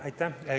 Aitäh!